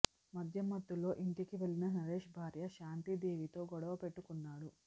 మద్యం మత్తులో ఇంటికి వెళ్లిన నరేష్ భార్య శాంతి దేవితో గొడవ పెట్టుకున్నాడు